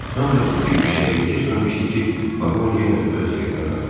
Ancaq iki-üç dəqiqə keçməmişdi ki, vaqon yenə öz yerinə qayıtdı.